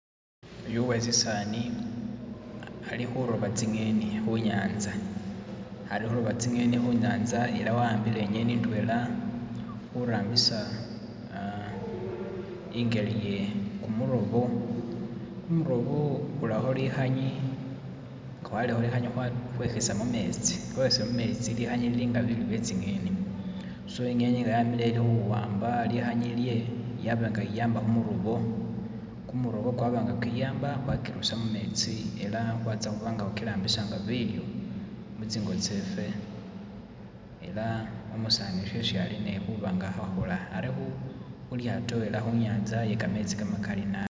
Uyu uwesisani ari huroba tsi'ngeni hunyatsa, ari huroba tsi'ngeni hunyatsa era wa'mbile inyeni indwela hurambisa ingeli ye kumurobo, kumurobo uraho lihanye nga walereho lihanye wehisa mumetsi, nga wehisile mumetsi lihanye lili nga bilyo bye tsi'ngeni, so ingeni nga yamileyo eri huwamba lihanye ilye yaba nga yiyamba hu murobo, kumurobo kwaba nga kwiyamba hwakirusa mumetsi ela hwatsa hubanga hukirabisa nga bilyo mutsingo tsefe, ela umusaani uyu shesi ali nihuba nga ahahola, ari hulyaato era hunyatsa iye kametsi kamakali nabi